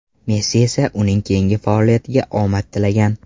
Messi esa uning keyingi faoliyatiga omad tilagan.